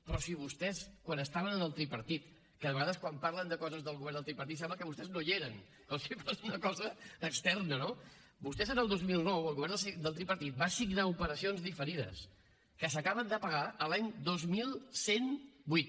però si vostès quan estaven en el tripartit que de vegades quan parlen de coses del govern del tripartit sembla que vostès no hi eren com si fos una cosa externa no vostès en el dos mil nou el govern del tripartit van signar operacions diferides que s’acaben de pagar l’any dos mil cent i vuit